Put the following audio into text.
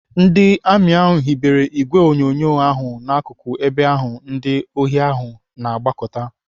Ndị amị hibere ìgwè onyonyo ahụ n'akụkụ ebe ahụ ndị ohi ahụ na-agbakọta.